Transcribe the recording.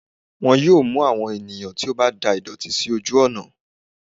wọn yóò mú àwọn ènìyàn tí o ba dà ìdòtí sí ojú ònà